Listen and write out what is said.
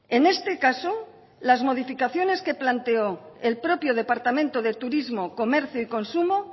en este caso las modificaciones que planteó el propio departamento de turismo comercio y consumo